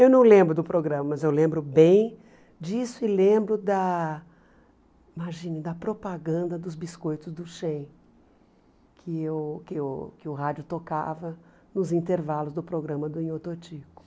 Eu não lembro do programa, mas eu lembro bem disso e lembro da imagine propaganda dos Biscoitos do Che, que o que o que o rádio tocava nos intervalos do programa do Nhô Totico.